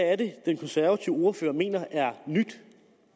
er det den konservative ordfører mener er nyt